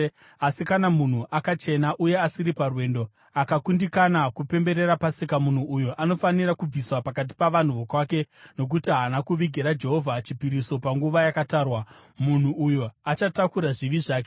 Asi kana munhu akachena uye asiri parwendo akakundikana kupemberera Pasika, munhu uyo anofanira kubviswa pakati pavanhu vokwake nokuti haana kuvigira Jehovha chipiriso panguva yakatarwa. Munhu uyo achatakura zvivi zvake.